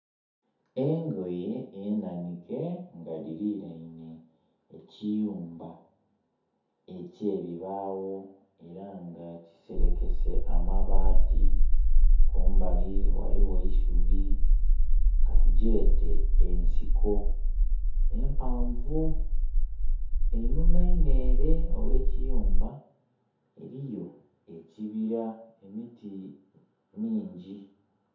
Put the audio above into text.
Engoye enanhike nga dhiliraine eki yumba ekye bibawo era nga kiserekese amabati, kumbali ghaligho eisubi katugyete ensiko empavuu. Einhuma einho ere eriyo ekibira emiti mingi.